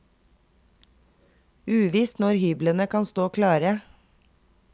Uvisst når hyblene kan stå klare.